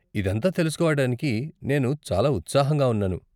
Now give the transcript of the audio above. ఇదంతా తెలుసుకోవటానికి నేను చాలా ఉత్సాహంగా ఉన్నాను.